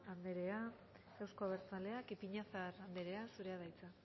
andrea euzko abertzaleak ipiñazar andrea zurea da hitza